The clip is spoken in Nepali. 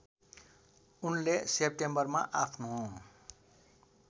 उनले सेप्टेम्बरमा आफ्नो